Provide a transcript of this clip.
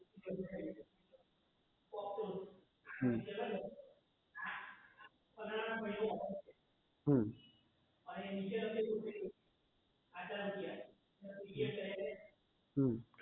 હમ હમ અમ